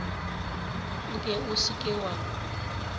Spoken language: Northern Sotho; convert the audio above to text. nke o se ke wa